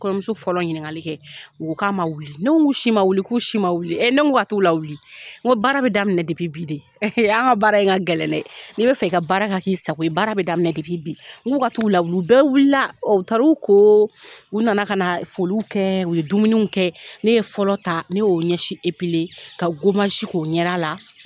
Kɔɲɔmuso ɲiningali kɛ, o ko k'a ma wili. Ne k'u k'u si ma wili, k'u si ma wili. ne k'u k'a to lawili. N ko baara bɛ daminɛ bi de. An ka baara in ka gɛlɛ dɛ. Ni bɛ fɛ i ka baara k'a k'i sago ye, baara bɛ daminɛ bi. N k'u ka t'u lawili, u bɛɛ wilila, o taara u ko, u nana ka na foliw kɛ, u ye dumuniw kɛ ,ne ye fɔlɔ ta, ne y'o ɲɛsi ka k'o ɲɛda la